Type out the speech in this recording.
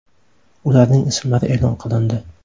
Ularning ismlari e’lon qilindi.